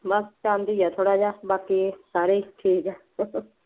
ਬਸ ਚਾਂਦੀ ਹੈ ਥੋੜ੍ਹਾ ਜਿਹਾ ਬਾਕੀ ਸਾਰੇ ਠੀਕ ਹੈ